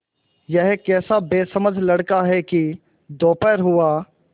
यह कैसा बेसमझ लड़का है कि दोपहर हुआ